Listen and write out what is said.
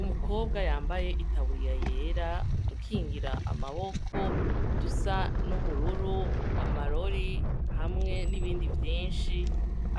Umukobwa yambaye itaburiya yera udukingira amaboko dusa n'ubururu amarori hamwe n'ibindi vyinshi